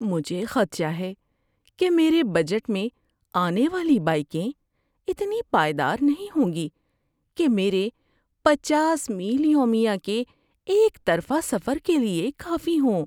مجھے خدشہ ہے کہ میرے بجٹ میں آنے والی بائیکیں اتنی پائیدار نہیں ہوں گی کہ میرے پچاس میل یومیہ کے ایک طرفہ سفر کے لیے کافی ہوں۔